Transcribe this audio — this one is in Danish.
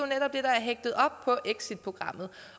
hægtet op på exitprogrammet